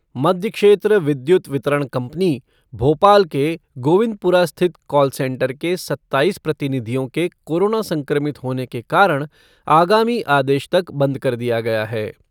मध्यक्षेत्र विद्युत वितरण कंपनी भोपाल के गोविंदपुरा स्थित कॉल सेंटर के सत्ताईस प्रतिनिधियों के कोरोना संक्रमित होने के कारण आगामी आदेश तक बंद कर दिया गया है।